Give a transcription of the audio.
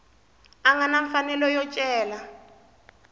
nga na mfanelo yo cela